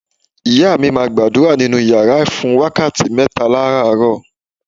Ìyá mi máa gbàdúrà nínú yàrá ẹ̀ fún wákàtí mẹ́ta láràárọ.